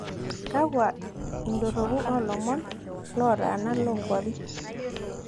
kakwa idorrupu oo ilomon lotaana loo inkuapi